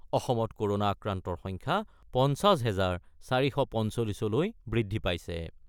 অসমত ক'ৰণা আক্ৰান্তৰ সংখ্যা ৫০ হেজাৰ ৪৪৫ লৈ বৃদ্ধি পাইছে ।